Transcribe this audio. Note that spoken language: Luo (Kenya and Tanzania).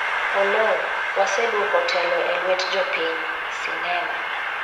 Oloo:waseduoko telo e luet jopiny, sinema